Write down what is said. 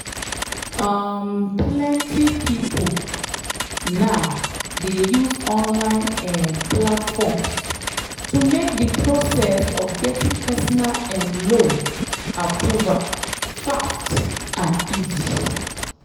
um plenty people now dey use online um platforms to make the process of getting personal um loan approval fast and easy.